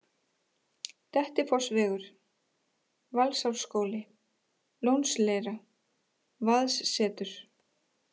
Dettifossvegur, Valsárskóli, Lónsleira, Vaðssetur